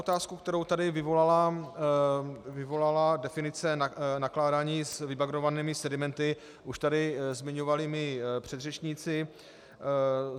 Otázku, kterou tady vyvolala definice nakládání s vybagrovanými sedimenty, už tady zmiňovali mí předřečníci.